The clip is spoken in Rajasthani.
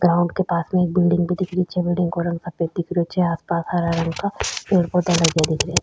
ग्राउंड के पास में एक बिलडिंग भी दिख री छे बिलडिंग को रंग सफ़ेद दिख रेहो छे आस पास हरा रंग का पेड़ पौधा लगा दिख रे --